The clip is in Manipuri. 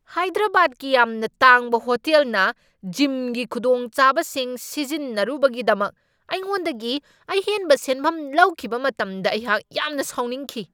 ꯍꯥꯏꯗ꯭ꯔꯕꯥꯗꯀꯤ ꯌꯥꯝꯅ ꯇꯥꯡꯕ ꯍꯣꯇꯦꯜꯅ ꯖꯤꯝꯒꯤ ꯈꯨꯗꯣꯡꯆꯥꯕꯁꯤꯡ ꯁꯤꯖꯤꯟꯅꯔꯨꯕꯒꯤꯗꯃꯛ ꯑꯩꯉꯣꯟꯗꯒꯤ ꯑꯍꯦꯟꯕ ꯁꯦꯟꯐꯝ ꯂꯧꯈꯤꯕ ꯃꯇꯝꯗ ꯑꯩꯍꯥꯛ ꯌꯥꯝꯅ ꯁꯥꯎꯅꯤꯡꯈꯤ ꯫